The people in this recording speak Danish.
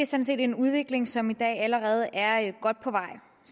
set en udvikling som i dag allerede er godt på vej